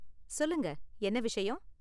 சொல்லுங்க, என்ன விஷயம்?